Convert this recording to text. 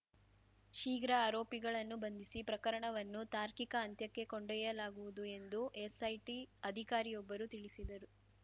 ಶೀಘ್ರ ಆರೋಪಿಗಳನ್ನು ಬಂಧಿಸಿ ಪ್ರಕರಣವನ್ನು ತಾರ್ಕಿಕ ಅಂತ್ಯಕ್ಕೆ ಕೊಂಡೊಯ್ಯಲಾಗುವುದು ಎಂದು ಎಸ್‌ಐಟಿ ಅಧಿಕಾರಿಯೊಬ್ಬರು ತಿಳಿಸಿದರು